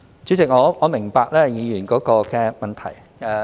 主席，我明白議員的補充質詢。